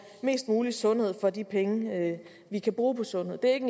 mest mulig sundhed for de penge vi kan bruge på sundhed det er ikke